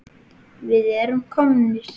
Við erum komnir!